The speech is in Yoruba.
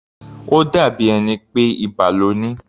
Ó dàbí ẹni pé ibà lo ní.